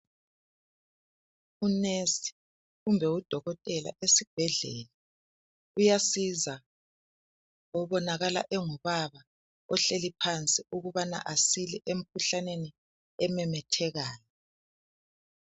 Unesi kumbe udokotela esibhedlela uyasiza obonakala engubaba ohleli phansi ukubana asile emkhuhlaneni ememethekayo.